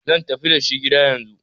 zan tafi dashi gida yanzu!